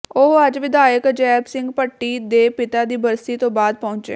ਉਹ ਅੱਜ ਵਿਧਾਇਕ ਅਜੈਬ ਸਿੰਘ ਭੱਟੀ ਦੇ ਪਿਤਾ ਦੀ ਬਰਸੀ ਤੋਂ ਬਾਅਦ ਪਹੁੰਚੇ